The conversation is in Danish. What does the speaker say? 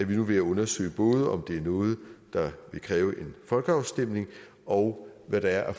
vi nu ved at undersøge både om det er noget der vil kræve en folkeafstemning og hvad der er af